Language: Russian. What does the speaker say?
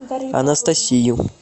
анастасию